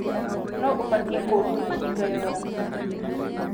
Nũ ũbatiĩ kũrio mĩcinga yoora?